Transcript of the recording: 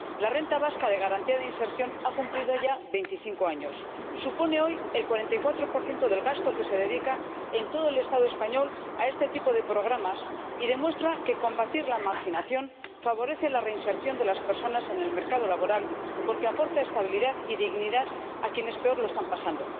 La renta vasca de garantía de inserción ha cumplido ya veinticinco años, supone hoy el 44 del gasto que se dedica en todo el Estado español a este tipo de programas y demuestra que combatir la marginación favorece la reinserción de las personas en el mercado laboral, porque aporta estabilidad y dignidad a quienes peor lo están pasando.